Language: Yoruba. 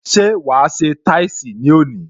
Ṣé wa se táìsì ní òní?